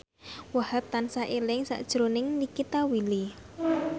Wahhab tansah eling sakjroning Nikita Willy